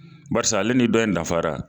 Barsi ale ni bɔ in dafara